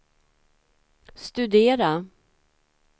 studera